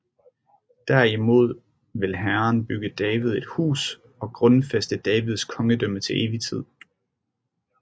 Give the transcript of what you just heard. Derimod vil Herren bygge David et hus og grundfæste Davids kongedømme til evig tid